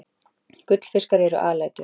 Gullfiskar eru alætur.